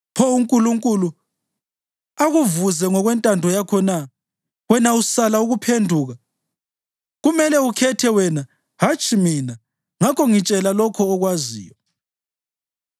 Pho uNkulunkulu akuvuze ngokwentando yakho na, wena usala ukuphenduka? Kumele ukhethe wena, hatshi mina; ngakho ngitshela lokho okwaziyo.